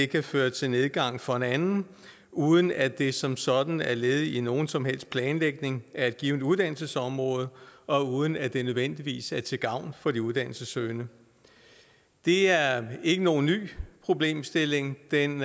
kan føre til nedgang for en anden uden at det som sådan er led i nogen som helst planlægning af et givent uddannelsesområde og uden at det nødvendigvis er til gavn for de uddannelsessøgende det er ikke nogen ny problemstilling den